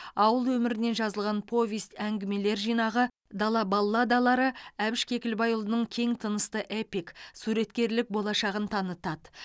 ауыл өмірінен жазылған повесть әңгімелер жинағы дала балладалары әбіш кекілбайұлының кең тынысты эпик суреткерлік болашағын танытады